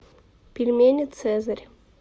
пельмени цезарь